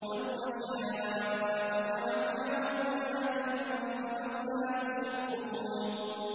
لَوْ نَشَاءُ جَعَلْنَاهُ أُجَاجًا فَلَوْلَا تَشْكُرُونَ